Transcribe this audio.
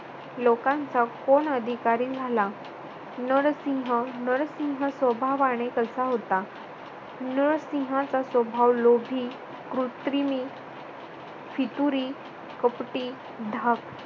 लोकांचा कोण अधिकारी झाला. नरसिंह नरसिंह स्वभावाने कसा होता? नरसिंहाचा स्वभाव लोभी, कृत्रिमी, फितुरी, कपटी, धाड